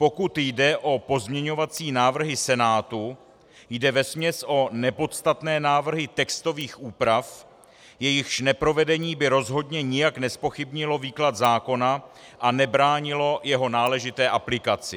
Pokud jde o pozměňovací návrhy Senátu, jde vesměs o nepodstatné návrhy textových úprav, jejichž neprovedení by rozhodně nijak nezpochybnilo výklad zákona a nebránilo jeho náležité aplikaci.